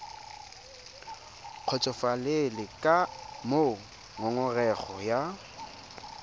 kgotsofalele ka moo ngongorego ya